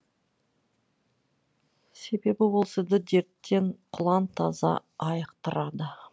себебі ол сізді дерттен құлан таза айықтырады